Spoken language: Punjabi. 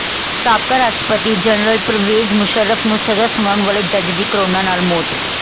ਸਾਬਕਾ ਰਾਸ਼ਟਰਪਤੀ ਜਨਰਲ ਪਰਵੇਜ਼ ਮੁਸ਼ੱਰਫ ਨੂੰ ਸਜ਼ਾ ਸੁਣਾਉਣ ਵਾਲੇ ਜੱਜ ਦੀ ਕੋਰੋਨਾ ਨਾਲ ਮੌਤ